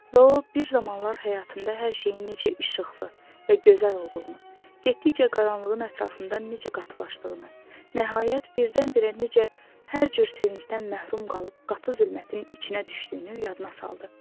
Və o bir zamanlar həyatında hər şeyin necə işıqlı və gözəl olduğunu, getdikcə qaranlığın ətrafından necə qatılaşdığını, nəhayət birdən-birə necə hər cür sevincdən məhrum qalıb qatı zülmətin içinə düşdüyünü yadına saldı.